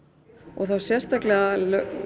og þá sérstaklega